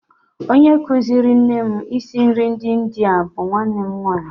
Onye kụziiri nne m isi nri ndị India bụ nwanne nwaanyị